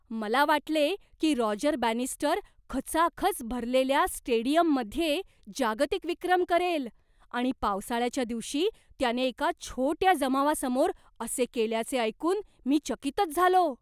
मला वाटले की रॉजर बॅनिस्टर खचाखच भरलेल्या स्टेडियममध्ये जागतिक विक्रम करेल आणि पावसाळ्याच्या दिवशी त्याने एका छोट्या जमावासमोर असे केल्याचे ऐकून मी चकितच झालो.